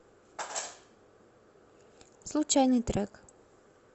случайный трек